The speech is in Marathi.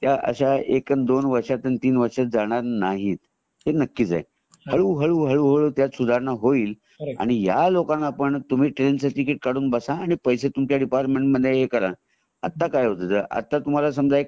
अश्या एक आणि दोन वर्षात तीन वर्षात जाणार नाहीत हे नक्कीच आहे हळू हळू हळू त्यात सुधारणा होईल आणि ह्या लोकांना पण तुम्ही ट्रेन च टिकिट काढून बसा आणि त्याचे पैसे डिपार्टमेंट मध्ये हे करा आता काय होता आता समजा तुम्हाला एक